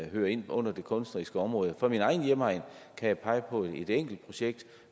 hører ind under det kunstneriske område fra min egen hjemegn kan jeg pege på et enkelt projekt